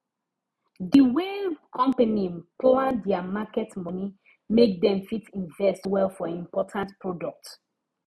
the way company plan their market money make dem fit invest well for important products